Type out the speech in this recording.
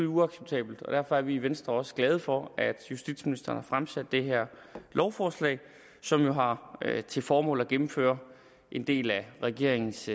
uacceptabelt og derfor er vi i venstre også glade for at justitsministeren har fremsat det her lovforslag som jo har til formål at gennemføre en del af regeringens